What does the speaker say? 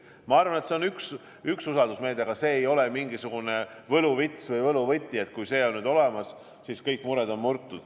Ma arvan, et see on üks usaldusmeede, aga see ei ole mingisugune võluvits või võluvõti, et kui see on olemas, siis nüüd on kõik mured murtud.